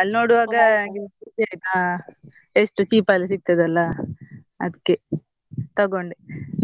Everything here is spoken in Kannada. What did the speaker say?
ಅಲ್ ನೋಡುವಾಗ ಎಷ್ಟು cheap ಅಲ್ ಸಿಗ್ತದಲ್ಲ ಅದ್ಕೆ ತಗೊಂಡೆ